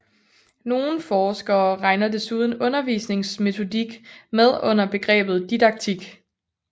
Nogle forskere regner desuden undervisningsmetodik med under begrebet didaktik